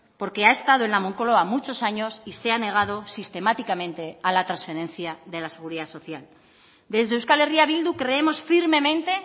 porque ha estado en la moncloa muchos años y se ha negado sistemáticamente a la transferencia de la seguridad social desde euskal herria bildu creemos firmemente